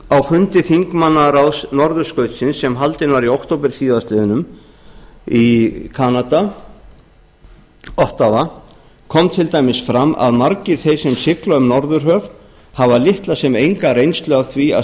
á fundi þingmannaráðs norðurskautsins sem haldinn var í október síðastliðinn í kanada ottawa kom til dæmis fram að margir þeir sem sigla um norðurhöf hafa litla sem enga reynslu af því að